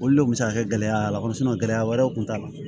Olu le kun mi se ka kɛ gɛlɛya y'a la gɛlɛya wɛrɛw kun t'a la